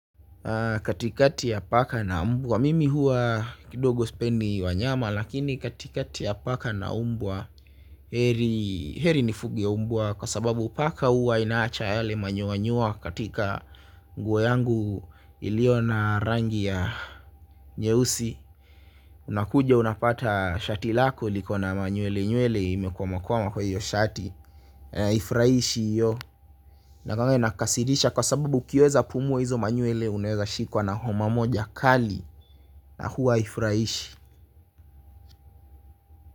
Katikati ya paka na mbwa? Mimi huwa kidogo sipendi wanyama lakini katikati ya paka na mbwa geri nifuge mbwa kwa sababu paka huwa inaacha yale manyoanyoa katika nguo yangu iliyo na rangi ya nyeusi. Unakuja unapata shati lako likona manywelenywele imekwamakwama kwa hiyo shati haifurahishi hiyo. Inakuwanga inakasirisha kwa sababu ukiweza pumua hizo manywele uneweza shikwa na homa moja kali na huwa haifurahishi.